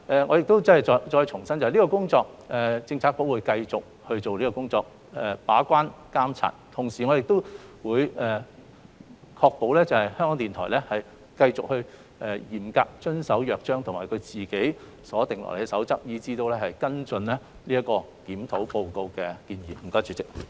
我重申，局方會繼續進行把關和監察的工作，並確保港台繼續嚴格遵守《約章》及他們自行制訂的守則行事，以及跟進《檢討報告》的建議。